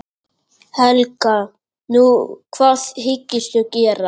Helga: Nú, hvað hyggstu gera?